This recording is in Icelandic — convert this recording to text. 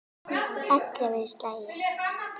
Ellefu slagir.